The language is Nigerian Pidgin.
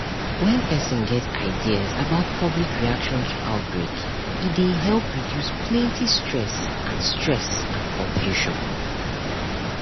when person get ideas about public reaction to outbreak e dey help reduce plenty stress and stress and confusion